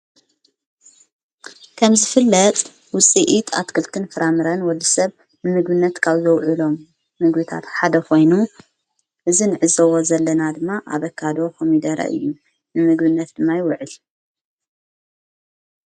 ከም ዝፍለጥ ውፂኢት ኣትክልክትን ፍራምረን ወዲ ሰብ ንምጉነት ቃብዘውዕሎም ንጕቢታት ሓደኾይኑ እዝን ዕዘዎ ዘለና ድማ ኣበካዶ ኾሚደረ እዩ ንምጉብነት ድማ ይውዕል።